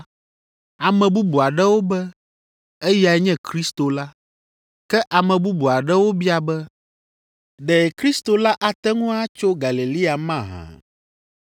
Ame bubu aɖewo be, “Eyae nye Kristo la.” Ke ame bubu aɖewo bia be, “Ɖe Kristo la ate ŋu atso Galilea mahã?